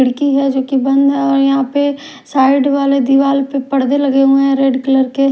खिड़की है जो कि बंद है और यहां पे साइड वाले दीवाल पे परदे लगे हुए हैं रेड कलर के।